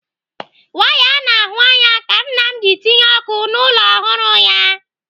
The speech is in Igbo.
Waya a na-ahụ anya ka nna m ji tinye ọkụ n'ụlọ ọhụrụ ya.